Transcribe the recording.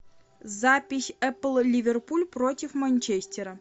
запись эпл ливерпуль против манчестера